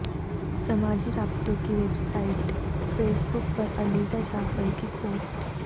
سماجی رابطوں کی ویب سایٹ فیس بک پر علیزہ جعفر کی پوسٹ